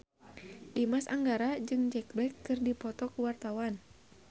Dimas Anggara jeung Jack Black keur dipoto ku wartawan